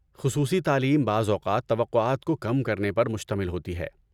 خصوصی تعلیم بعض اوقات توقعات کو کم کرنے پر مشتمل ہوتی ہے۔